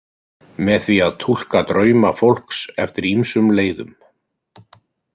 Með því að túlka drauma fólks eftir ýmsum leiðum.